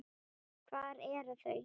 Hver eru þau?